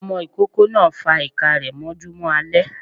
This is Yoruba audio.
Ọmọ ikoko náá fa iká rẹ mọjúmọ alẹ